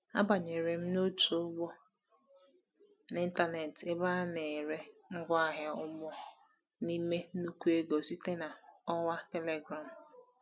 Abanyere m otu ugbo n’ịntanetị ebe anyị na-ere ngwaahịa ugbo n’ime nnukwu ego site na ọwa Telegram.